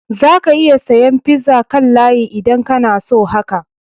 Za ka iya saya pizza kan layi idan kana so haka.